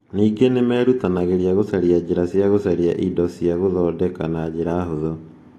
Ningĩ nĩ merutanagĩria gũcaria njĩra cia gũcaria indo cia gũthondeka na njĩra hũthũ.